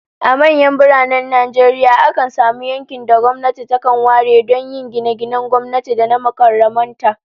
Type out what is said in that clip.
A manyan biranen Najeriya, akan samu yankin da gwamnati takan ware don yin gine-ginen gwamnati da na mukarraban ta